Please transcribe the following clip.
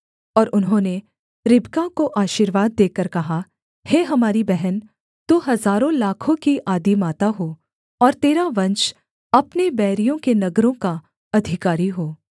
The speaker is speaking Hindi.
और उन्होंने रिबका को आशीर्वाद देकर कहा हे हमारी बहन तू हजारों लाखों की आदिमाता हो और तेरा वंश अपने बैरियों के नगरों का अधिकारी हो